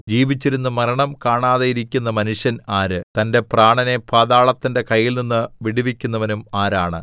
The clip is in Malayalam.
ജീവിച്ചിരുന്ന് മരണം കാണാതെയിരിക്കുന്ന മനുഷ്യൻ ആര് തന്റെ പ്രാണനെ പാതാളത്തിന്റെ കയ്യിൽനിന്ന് വിടുവിക്കുന്നവനും ആരാണ് സേലാ